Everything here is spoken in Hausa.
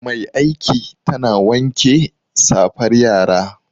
Mai aiki tana wanke safar yara